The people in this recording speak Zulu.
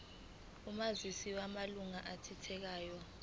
omazisi wamalunga athintekayo